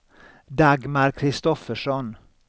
Dagmar Kristoffersson